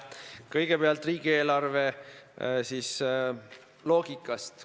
Kõigepealt riigieelarve loogikast.